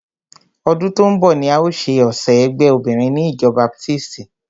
Ọdún tó ń bọ̀ ni a o ṣe ọ̀sẹ̀ ẹgbé obinrin ni ìjọ baptisti.